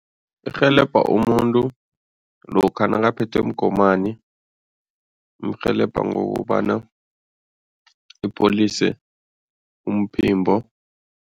Irhelebha umuntu lokha nakaphethwe mgomani, umrhelebha ngokobana upholise umphimbo.